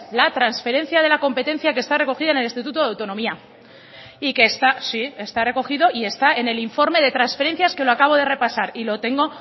la transferencia de la competencia que está recogida en el estatuto de autonomía y que está sí está recogido y está en el informe de transferencias que lo acabo de repasar y lo tengo